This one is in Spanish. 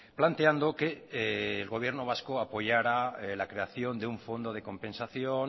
planteando que el gobierno vasco apoyara la creación de un fondo de compensación